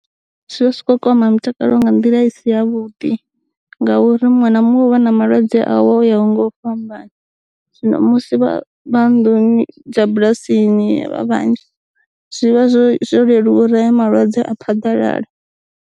Zwi vha zwi tshi ko kwama mitakalo nga nḓila i si ya vhuḓi, ngauri muṅwe na muṅwe u vha na malwadze awo yaho nga u fhambana, zwino musi vha vha nnḓuni dza bulasini vha vhanzhi, zwi vha zwo leluwa uri heya malwadze a phaḓalale.